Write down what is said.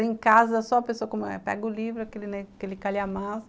Em casa, só a pessoa pega o livro, aquele calhamaço,